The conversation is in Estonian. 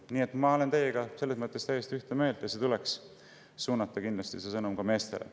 Nii et ma olen teiega selles mõttes täiesti ühte meelt: see sõnum tuleks kindlasti suunata ka meestele.